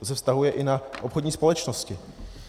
To se vztahuje i na obchodní společnosti.